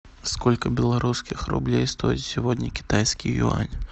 сколько белорусских рублей стоит сегодня китайский юань